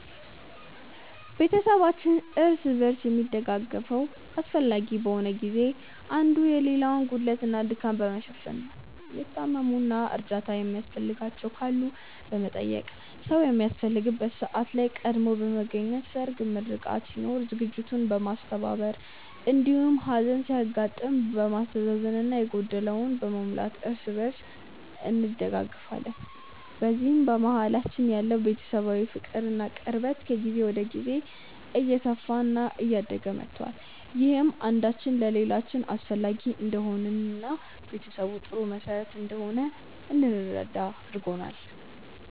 ቤተሰባችን እርስ በርስ የሚደጋገፈው አስፈላጊ በሆነ ጊዜ ላይ አንዱ የሌላውን ጉድለት እና ድካም በመሸፈን ነው። የታመሙ እና እርዳታ የሚያስፈልጋቸው ካሉ በመጠየቅ፣ ሰዉ በሚያስፈልግበት ሰዓት ላይ ቀድሞ በመገኘት ሰርግ፣ ምርቃት ሲኖር ዝግጅቱን በማስተባበር እንዲሁም ሀዘን ሲያጋጥም በማስተዛዘን እና የጎደለውን በመሙላት እርስ በእርስ እንደጋገፋለን። በዚህም በመሀላችን ያለው ቤተሰባዊ ፍቅር እና ቅርበት ከጊዜ ወደ ጊዜ እየሰፋ እና እያደገ መቷል። ይህም አንዳችን ለሌላችን አስፈላጊ እንደሆንን እና ቤተሰብ ጥሩ መሰረት እንደሆነ እንድንረዳ አድርጎናል።